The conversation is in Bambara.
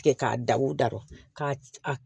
Tigɛ k'a da u dara ka